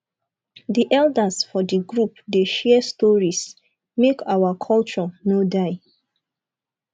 di elders for di group dey share stories make our culture no die